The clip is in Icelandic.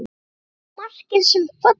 Eru margir sem falla?